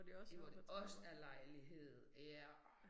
Hvor det også er lejlighed ja